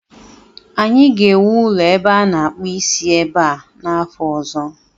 Anyị ga-ewu ụlọ ebe a na-akpụ isi ebe a n'afọ ọzọ